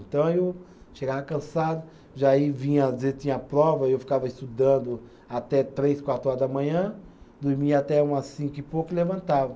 Então eu chegava cansado, já vinha às vezes tinha prova, aí eu ficava estudando até três, quatro horas da manhã, dormia até umas cinco e pouco e levantava.